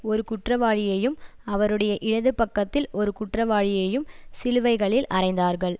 ஒரு குற்றவாளியையும் அவருடைய இடதுபக்கத்தில் ஒரு குற்றவாளியையும் சிலுவைகளில் அறைந்தார்கள்